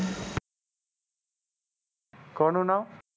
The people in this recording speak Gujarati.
કોનું નામ?